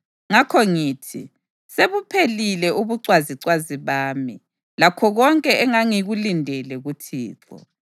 Ngakho ngithi, “Sebuphelile ubucwazicwazi bami, lakho konke engangikulindele kuThixo.”